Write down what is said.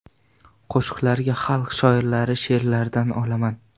Qo‘shiqlarga xalq shoirlari she’rlaridan olaman.